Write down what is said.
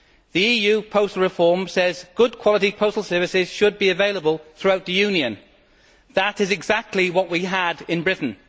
The EU postal reform says that good quality postal services should be available throughout the Union. That is exactly what we had in Britain.